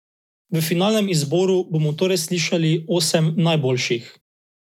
V finalnem izboru bomo torej slišali osem najboljših.